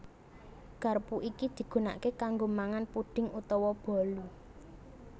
Garpu iki digunaké kanggo mangan puding utawa bolu